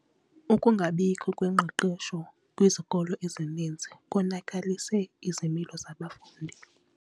Ukungabikho kwengqeqesho kwizikolo ezininzi konakalise izimilo zabafundi.